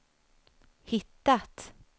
hittat